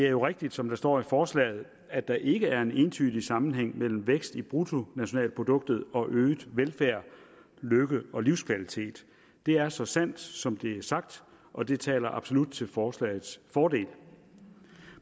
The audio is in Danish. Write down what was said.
er jo rigtigt som der står i forslaget at der ikke er en entydig sammenhæng mellem vækst i bruttonationalproduktet og øget velfærd lykke og livskvalitet det er så sandt som det er sagt og det taler absolut til forslagets fordel